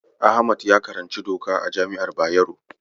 Ahmad ya karanci doka a jami'ar Bayero.